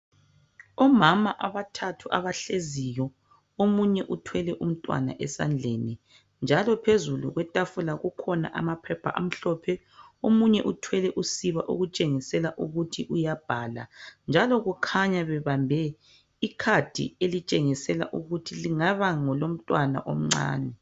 Omama amathathu abahleziyo, omunye uthwele umntwana esandleni njalo phezulu kwetafula kukhona amaphepha amahlophe, omunye uthwele usiba okutshengisela ukuthi uyabhala njalo kukhanya ebambe ikhadi elitshengisela ukuthi kungaba ngelomntwana omncane.